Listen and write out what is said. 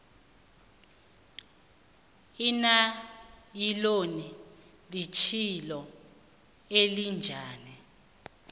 inayiloni litjhilo elinjani